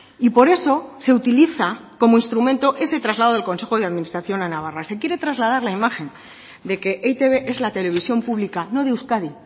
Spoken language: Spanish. y por eso se utiliza como instrumento ese traslado del consejo de administración a navarra se quiere trasladar la imagen de que e i te be es la televisión pública no de euskadi